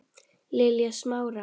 Lilja Smára.